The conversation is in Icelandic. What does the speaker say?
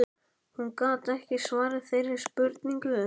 Hún gat ekki svarað þeirri spurningu.